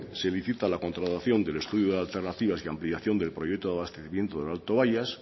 se licita la contratación del estudio de alternativas de ampliación del proyecto de abastecimiento del alto bayas